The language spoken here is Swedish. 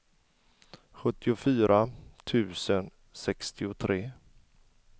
sjuttiofyra tusen sextiotre